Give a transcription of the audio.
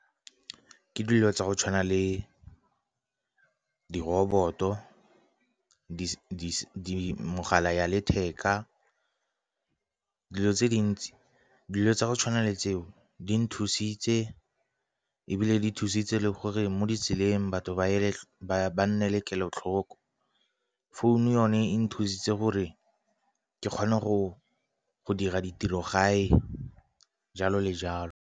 Ke dilo tsa go tshwana le di-robot-o, megala ya letheka, dilo tse dintsi, dilo tsa go tshwana le tseo di nthusitse ebile di thusitse le gore mo ditseleng batho ba nne le kelotlhoko. Phone yone e nthusitse gore ke kgone go dira ditiro gae jalo le jalo.